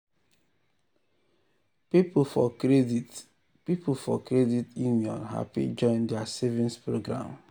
people for credit people for credit union happy join their savings program.